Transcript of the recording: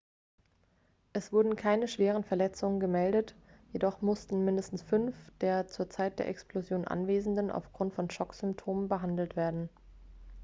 es wurden keine schwere verletzungen gemeldet jedoch mussten mindestens fünf der zur zeit der explosion anwesenden aufgrund von schocksymptomen behandelt werden